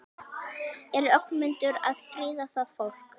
Er Ögmundur að friða það fólk?